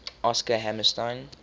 oscar hammerstein